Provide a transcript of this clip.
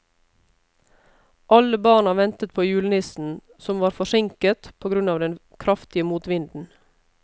Alle barna ventet på julenissen, som var forsinket på grunn av den kraftige motvinden.